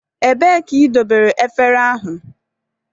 Ebee ka idobere efere ahụ?